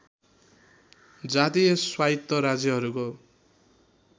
जातीय स्वायत्त राज्यहरूको